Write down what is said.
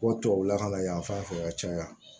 Ko tubabu lakana yan fan fɛ ka caya